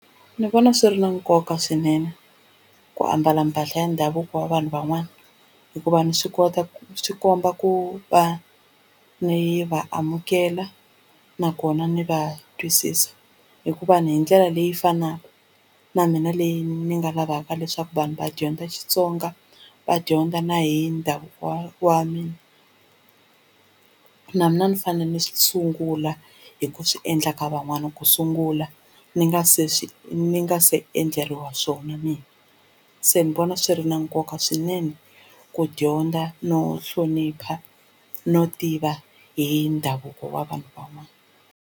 Ndzi vona swi ri na nkoka swinene ku ambala mpahla ya ndhavuko wa vanhu van'wana hikuva ni swi kota ku swi komba ku va ni va amukela nakona ni va twisisa hikuva ni hi ndlela leyi fanaka na mina leyi ni nga lavaka leswaku vanhu va dyondza Xitsonga va dyondza na hi ndhavuko wa mina na mina ni fanele ni swi sungula hi ku swiendla ka van'wana ku sungula ni nga se swi ni nga se endleriwa swona mina se ni vona swi ri na nkoka swinene ku dyondza no hlonipha no tiva hi ndhavuko wa vanhu van'wana.